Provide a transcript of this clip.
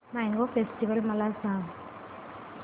mango festival मला सांग